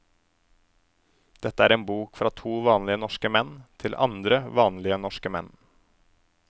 Dette er en bok fra to vanlige norske menn, til andre vanlige norske menn.